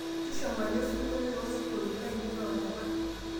tushuma elesingolio toosingolioitin lainei oorepa